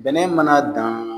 Bɛnɛ mana dan